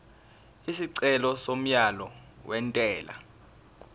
isicelo somyalo wentela